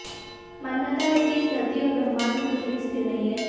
मान्यता है कि इस धरती और ब्रह्माण्ड में कुछ भी स्थिर नहीं है